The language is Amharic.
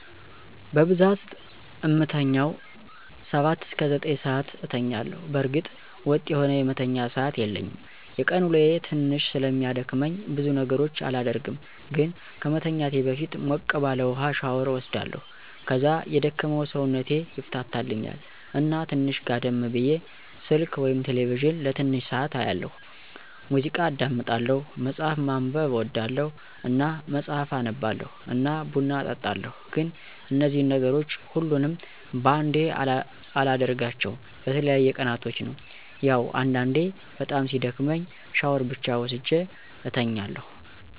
በብዛት እምተኛዉ 7-9 ሰዓት አተኛለሁ። በእርግጥ ወጥ የሆነ የመተኛ ሰዓት የለኝም። የቀን ወሎየ ትንሽ ስለሚያደክመኝ ብዙ ነገሮች አላደርግም ግን ከመተኛቴ በፊት ሞቅ ባለ ዉሀ ሻወር እወስዳለሁ ከዛ የደከመዉ ሰዉነቴ ይፍታታልኛል እና ትንሽ ጋደም ብየ፣ ስልክ /ቴሌቪዥን ለትንሽ ሰዓት አያለሁ፣ ሙዚቃ አዳምጣለሁ፣ መፅሀፍ ማንበብ አወዳለሁ እና መፅሀፍ አነባለሁ እና ቡና እጠጣለሁ ግን እነዚን ነገሮች ሁሉንም በአንዴ አላደርጋቸዉ በተለያየ ቀናቶች ነዉ። ያዉ አንዳንዴ በጣም ሲደክመኝ ሻወር ብቻ ወስጀ እተኛለሁ።